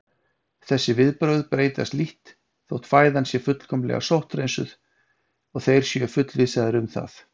Þessi viðbrögð breytast lítt þótt fæðan sé fullkomlega sótthreinsuð og þeir séu fullvissaðir um það.